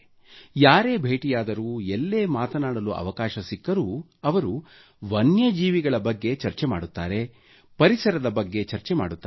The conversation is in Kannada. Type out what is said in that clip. ಯಾರೇ ಭೇಟಿಯಾದರೂ ಎಲ್ಲೇ ಮಾತನಾಡಲು ಅವಕಾಶ ಸಿಕ್ಕರೂ ಅವರು ವನ್ಯಜೀವಿಗಳ ಬಗ್ಗೆ ಚರ್ಚೆ ಮಾಡುತ್ತಾರೆ ಪರಿಸರದ ಬಗ್ಗೆ ಚರ್ಚೆ ಮಾಡುತ್ತಾರೆ